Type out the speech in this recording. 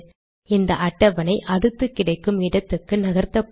இந்த அட்டவணை அடுத்து கிடைக்கும் இடத்துக்கு நகர்த்தப்படும்